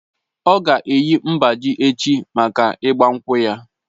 Ọ̀ ga-eyi mgbájí echi mákà ịgba nkwú ya